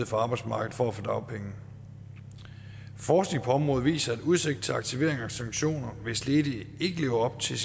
for arbejdsmarkedet for at få dagpenge forskning på området viser at udsigt til aktivering og sanktioner hvis ledige ikke lever op til